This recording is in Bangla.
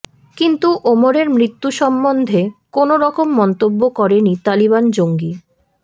কিন্তু ওমরের মৃত্যু সম্বন্ধে কোনও রকম মন্তব্য করেনি তালিবান জঙ্গি